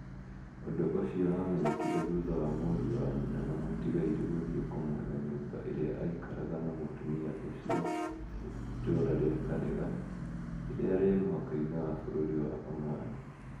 ũndũ ũcio wamenyekire thutha wa mũriũ wa nyina na mũtiga-irĩ gũthiĩ kũmwetha nyumba ĩrĩa aikaraga na mũtumia ũcio itũra ria Karega, rĩrĩa rĩ mũhaka-inĩ wa bururi wa omani